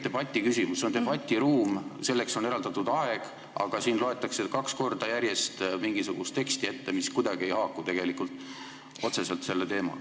See siin on tegelikult debatt, selleks on eraldatud aeg, aga siin loetakse kaks korda järjest ette mingisugust teksti, mis selle teemaga kuidagi otseselt ei haaku.